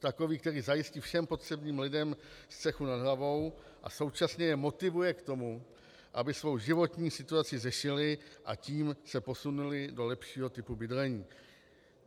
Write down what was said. Takový, který zajistí všem potřebným lidem střechu nad hlavou a současně je motivuje k tomu, aby svoji životní situaci řešili, a tím se posunuli do lepšího typu bydlení.